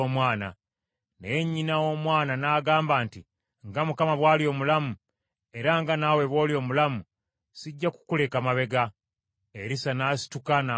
Naye nnyina w’omwana n’agamba nti, “Nga Mukama bw’ali omulamu, era nga naawe bw’oli omulamu, sijja kukuleka mabega.” Erisa n’asituka n’amugoberera.